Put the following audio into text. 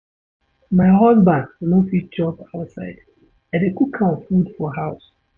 My husband no fit chop outside, I dey cook im food for house.